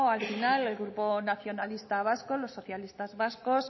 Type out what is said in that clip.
al final el grupo nacionalistas vascos los socialistas vascos